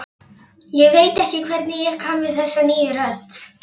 Ég veit ekki hvernig ég kann við þessa nýju rödd.